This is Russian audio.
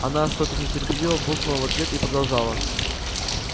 она что-то нетерпеливо буркнула в ответ и продолжала